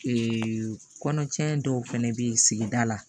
kɔnɔ cɛnin dɔw fɛnɛ bɛ ye sigida la